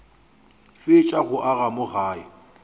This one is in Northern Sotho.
fetša go aga mo gae